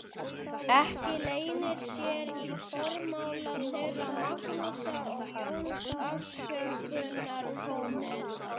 Ekki leynir sér í formála þeirra Magnúsar og Jóns afsökunartónninn.